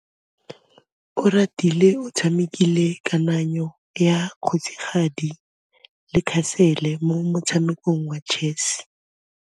Oratile o tshamekile kananyô ya kgosigadi le khasêlê mo motshamekong wa chess.